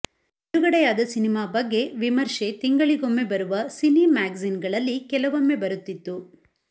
ಬಿಡುಗಡೆಯಾದ ಸಿನೆಮಾ ಬಗ್ಗೆ ವಿಮರ್ಶೆ ತಿಂಗಳಿಗೊಮ್ಮೆ ಬರುವ ಸಿನಿಮ್ಯಾಗಝೀನ್ಗಳಲ್ಲಿ ಕೆಲವೊಮ್ಮೆ ಬರುತ್ತಿತ್ತು